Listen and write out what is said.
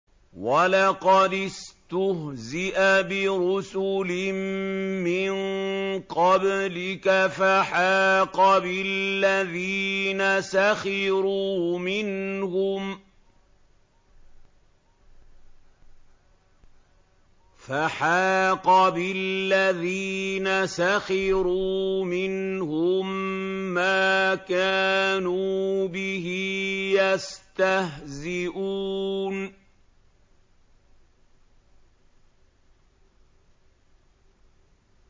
وَلَقَدِ اسْتُهْزِئَ بِرُسُلٍ مِّن قَبْلِكَ فَحَاقَ بِالَّذِينَ سَخِرُوا مِنْهُم مَّا كَانُوا بِهِ يَسْتَهْزِئُونَ